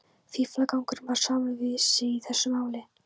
Fíflagangurinn var samur við sig í þessu máli.